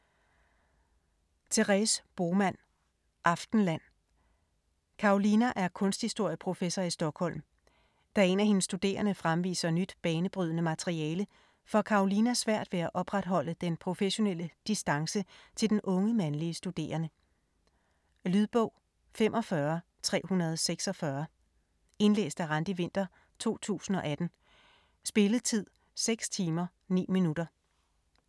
Bohman, Therese: Aftenland Karolina er kunsthistorieprofessor i Stockholm. Da en af hendes studerende fremviser nyt banebrydende materiale, får Karolina svært ved at opretholde den professionelle distance til den unge, mandlige studerende. Lydbog 45346 Indlæst af Randi Winther, 2018. Spilletid: 6 timer, 9 minutter.